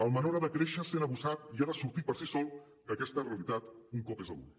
el menor ha de créixer sent abusat i ha de sortir per si sol d’aquesta realitat un cop és adult